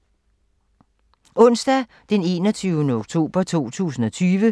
Onsdag d. 21. oktober 2020